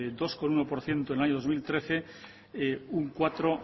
dos coma uno por ciento en el año dos mil trece un cuatro